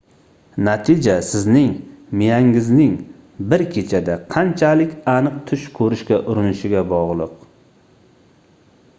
natija sizning miyangizning bir kechada qanchalik aniq tush koʻrishga urinishiga bogʻliq